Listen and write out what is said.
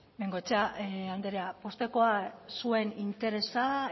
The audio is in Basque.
bengoechea andrea poztekoa zuen interesa